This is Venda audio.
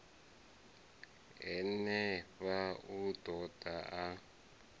henefha u ḓo ḓa a